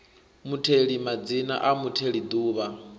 mutheli madzina a mutheli duvha